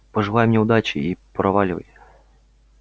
пожелай мне удачи и проваливай